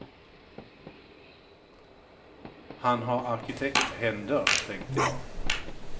Han har arkitekthänder, tänkte jag.